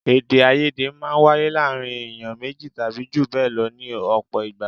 Èdè-áiyedé máa ń wáyé láàárín èèyàn méjì tàbí jù bẹ́ẹ̀ lọ ní ọ̀pọ̀ ìgbà.